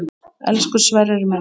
Elsku Sverrir minn.